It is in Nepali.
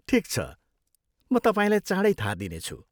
ठिक छ, म तपाईँलाई चाँडै थाहा दिनेछु।